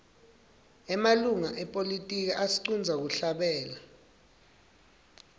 emalunga epolitiki atsqndza kuhlabela